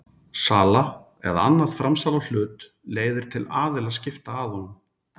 Sala eða annað framsal á hlut leiðir til aðilaskipta að honum.